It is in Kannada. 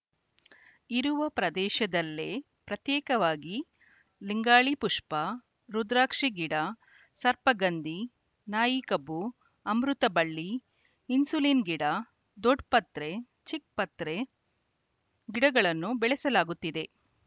ಇರುವ ಪ್ರದೇಶದಲ್ಲೇ ಪ್ರತ್ಯೇಕವಾಗಿ ಲಿಂಗಾಳಿ ಪುಷ್ಪ ರುದ್ರಾಕ್ಷಿ ಗಿಡ ಸರ್ಪಗಂಧಿ ನಾಯಿಕಬ್ಬು ಅಮೃತಬಳ್ಳಿ ಇನ್ಸುಲಿನ್ ಗಿಡ ದೊಡ್ಡಪತ್ರೆ ಚಿಕ್ಕಪತ್ರೆ ಗಿಡಗಳನ್ನು ಬೆಳೆಸಲಾಗುತ್ತಿದೆ